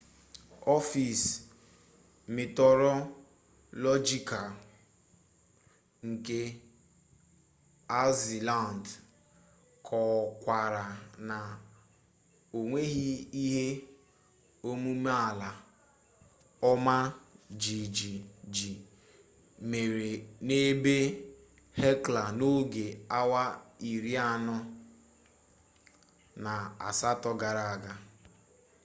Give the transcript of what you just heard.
ọfis mitiọrọlọjikal nke aịzilandị kọkwara na o nweghi ihe omume ala ọma jijiji mere n'ebe hekla n'oge awa iri anọ na asatọ gara aga